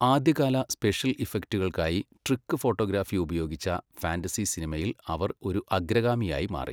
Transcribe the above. ആദ്യകാല സ്പെഷ്യൽ ഇഫക്റ്റുകൾക്കായി trick photography ഉപയോഗിച്ച ഫാന്റസി സിനിമയിൽ അവര് ഒരു അഗ്രഗാമിയായി മാറി.